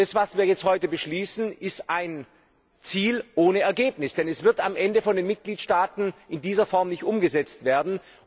Was wir heute beschließen, ist ein Ziel ohne Ergebnis, denn es wird am Ende von den Mitgliedstaaten in dieser Form nicht umgesetzt werden.